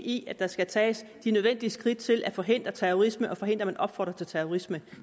i at der skal tages de nødvendige skridt til at forhindre terrorisme og forhindre at man opfordrer til terrorisme